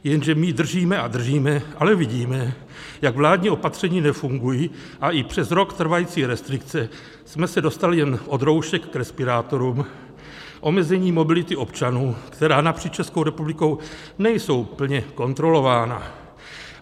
Jenže my držíme a držíme, ale vidíme, jak vládní opatření nefungují, a i přes rok trvající restrikce jsme se dostali jen od roušek k respirátorům, omezení mobility občanů, která napříč Českou republikou nejsou plně kontrolována.